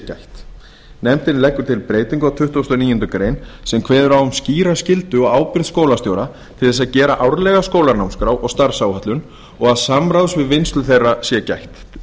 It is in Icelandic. gætt nefndin leggur til breytingu á tuttugustu og níundu grein sem kveður á um skýra skyldu og ábyrgð skólastjóra til að gera árlega skólanámskrá og starfsáætlun og að samráðs við vinnslu þeirra sé gætt